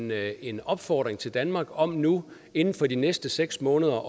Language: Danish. med en opfordring til danmark om nu inden for de næste seks måneder